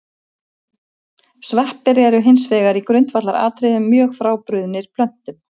Sveppir eru hins vegar í grundvallaratriðum mjög frábrugðnir plöntum.